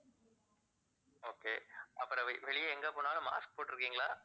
okay ah பிறகு வெளிய எங்க போனாலும் mask போட்டுருக்கிங்களா